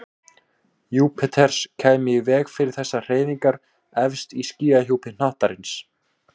Júpíters kæmi í veg fyrir þessar hreyfingar efst í skýjahjúpi hnattarins.